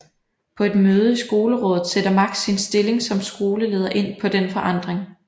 På et møde i Skolerådet sætter Max sin stilling som skoleleder ind på denne forandring